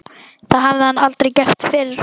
Það hafði hann aldrei gert fyrr.